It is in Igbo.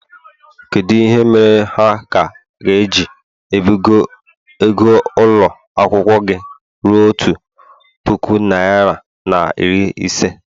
kedu ihe mere ha ka ga-eji ebugo ego ụlọ akwụkwọ gị ruo otu puku naịra na iri ise?